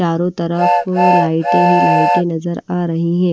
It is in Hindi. चारों तरफ लाइट ही लाइट नजर आ रही हैं।